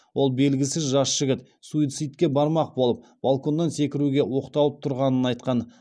ол белгісіз жас жігіт суицидке бармақ болып балконнан секіруге оқталып тұрғанын айтқан